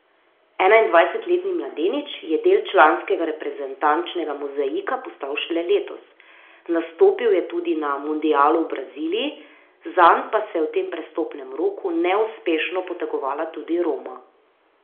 Enaindvajsetletni mladenič je del članskega reprezentančnega mozaika postal šele letos, nastopil je tudi na mundialu v Braziliji, zanj pa se je v tem prestopnem roku neuspešno potegovala tudi Roma.